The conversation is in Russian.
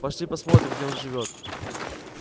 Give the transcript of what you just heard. пошли посмотрим где он живёт